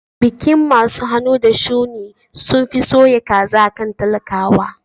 Bikin masu hannu da shuni sunfi soya kaza akan talakawa